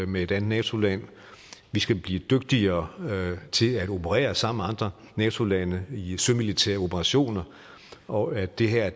med et andet nato land skal blive dygtigere til at operere sammen med andre nato lande i sømilitære operationer og at det her